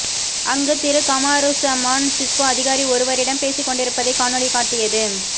அங்கு திரு கமாருஸமான் சிஸ்கோ அதிகாரி ஒருவரிடம் பேசிக்கொண்டிருப்பதைக் காணொளி காட்டியது